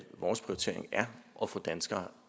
vores prioritering er at få danskere